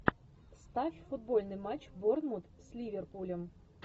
ставь футбольный матч борнмут с ливерпулем